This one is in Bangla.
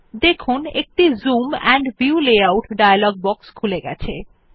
দেখুন একটি zoom and view layout dialog box খুলে গেছে